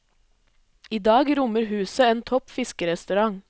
I dag rommer huset en topp fiskerestaurant.